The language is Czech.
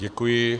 Děkuji.